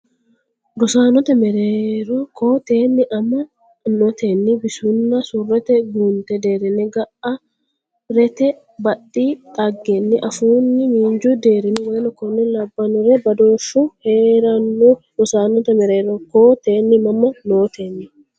rosaanote mereero koo teenni amma notenni bisunna surrete guunte deerrinni ga rete badhi dhaggenni afuunni miinju deerinni w k l badooshshu hee ranno Rosaanote mereero koo teenni amma notenni.